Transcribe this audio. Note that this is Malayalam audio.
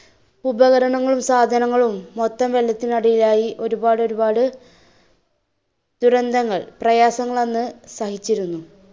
ഉപകരണങ്ങളും സാധനങ്ങളും മൊത്തം വെള്ളത്തിന് അടിയിലായി. ഒരുപാട് ഒരുപാടു ദുരന്തങ്ങൾ പ്രയാസങ്ങൾ അന്ന് സഹിച്ചിരുന്നു.